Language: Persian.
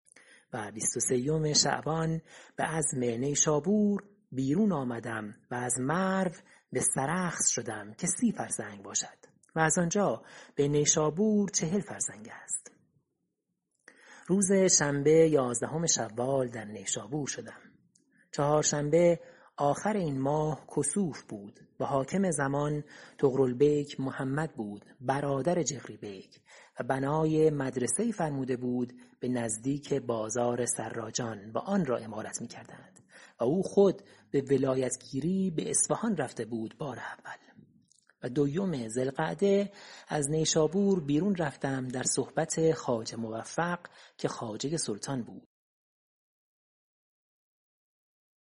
و بیست و سیوم شعبان به عزم نیشابور بیرون آمدم و از مرو به سرخس شدم که سی فرسنگ باشد و از آنجا به نیشابور چهل فرسنگ است روز شنبه یازدهم شوال در نیشابور شدم چهارشنبه آخر این ماه کسوف بود و حاکم زمان طغرل بیک محمد بود برادر جغری بیک و بنای مدرسه ای فرموده بود به نزدیک بازار سراجان و آن را عمارت می کردند و او خود به ولایت گیری به اصفهان رفته بود بار اول و دویم ذی القعده از نیشابور بیرون رفتم در صحبت خواجه موفق که خواجه سلطان بود